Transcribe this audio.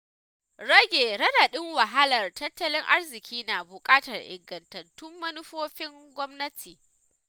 Rage raɗaɗin wahalar tattalin arziƙi na buƙatar ingantattun manufofin gwamnati.